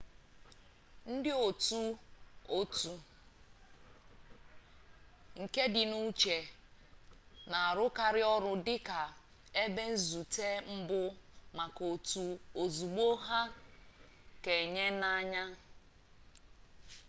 ndịotu otu kedịnuche na-arụkarị ọrụ dị ka ebe nzute mbụ maka otu ozugbo ha keanahụanya